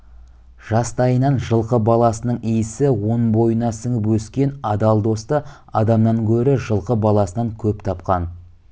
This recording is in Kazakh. жастайынан жылқы баласының иісі он бойына сіңіп өскен адал досты адамнан гөрі жылқы баласынан көп тапқан